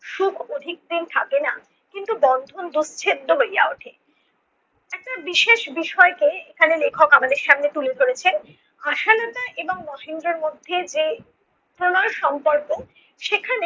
সুখ অধিকদিন থাকে না। কিন্তু বন্ধন দুচ্ছেদ্য হইয়া উঠে। একটা বিশেষ বিষয়কে এখানে লেখক আমাদের সামনে তুলে ধরেছেন আশালতা এবং মহেন্দ্রর মধ্যে যে প্রণয়ের সম্পর্ক সেখানে